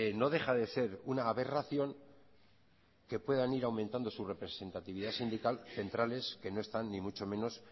no deja de ser una aberración que puedan ir aumentando su representatividad sindical centrales que no están ni mucho menos